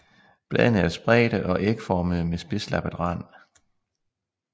Bladene er spredte og ægformede med spidslappet rand